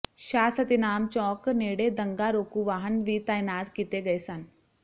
ਸ਼ਾਹ ਸਤਿਨਾਮ ਚੌਕ ਨੇੜੇ ਦੰਗਾ ਰੋਕੂ ਵਾਹਨ ਵੀ ਤਾਇਨਾਤ ਕੀਤੇ ਗਏ ਸਨ